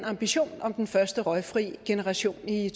ambitionen om den første røgfri generation i